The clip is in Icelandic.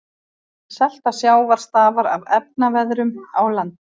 Selta sjávar stafar af efnaveðrun á landi.